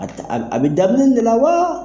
At a bɛ daminɛ de la wa?